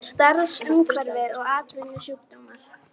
Starfsumhverfi og atvinnusjúkdómar.